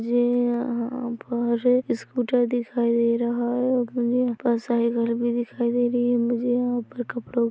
मुझे यहाँ पर स्कूटर दिखाई दे रहा है और मुझे बहुत सारे घर भी दिखाई दे रही है मुझे यहाँ पर कपड़ों --